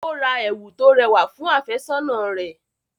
Ó ra ẹ̀wù tó rẹwà fún àfẹ́sọ́nà rẹ̀.